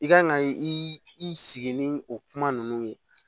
I kan ka i sigi ni o kuma ninnu ye